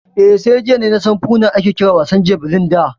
Eh, sai jiya nasan Foona ake kiran wasan jabelin da